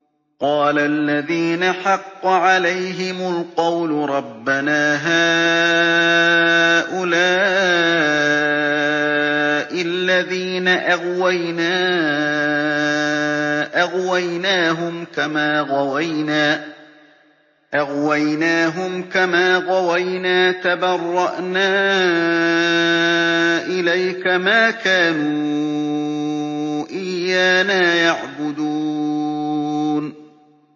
قَالَ الَّذِينَ حَقَّ عَلَيْهِمُ الْقَوْلُ رَبَّنَا هَٰؤُلَاءِ الَّذِينَ أَغْوَيْنَا أَغْوَيْنَاهُمْ كَمَا غَوَيْنَا ۖ تَبَرَّأْنَا إِلَيْكَ ۖ مَا كَانُوا إِيَّانَا يَعْبُدُونَ